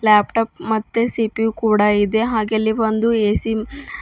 laptop ಮತ್ತೆ CPU ಕೂಡ ಇದೆ ಹಾಗೆ ಅಲ್ಲಿ ಒಂದು ಎ_ಸಿ ಮ್ --